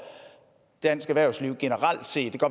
dansk erhvervsliv generelt set